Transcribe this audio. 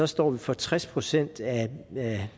står vi for tres procent af